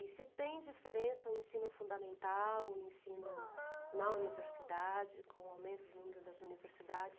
E se tem diferença o ensino fundamental, o ensino na universidade, com o aumento do número das universidades?